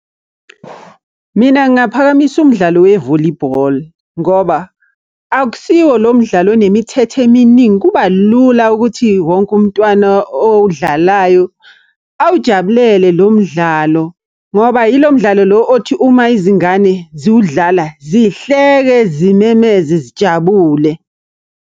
Mina ngingaphakamisa umdlalo we-volleyball ngoba akusiwo lo mdlalo onemithetho eminingi, kuba lula ukuthi wonke umntwana owudlalayo awujabulele lo mdlalo. Ngoba yilo mdlalo lo othi uma izingane ziwudlala, zihleke, zimemeze, zijabule.